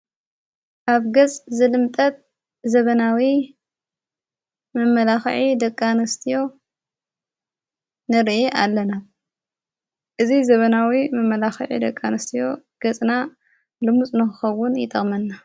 ካብ ገጽ ዘልምጠት ዘበናዊ መመላኽዒ ደቃንስትዮ ንርአ ኣለና እዝ ዘበናዊ መመላኽዒ ደቃንስትዮ ገጽና ልሙጽ ነኸውን ይጠቕመና።